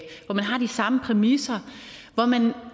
hvor man har de samme præmisser hvor man